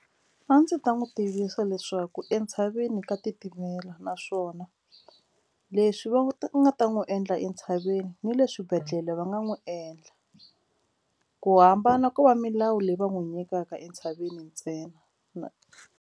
A ndzi ta n'wi tivisa leswaku entshaveni ka titimela naswona leswi va nga ta n'wi endla entshaveni ni le swibedhlele va nga n'wi endla ku hambana ko va milawu leyi va n'wi nyikaka entshaveni ntsena .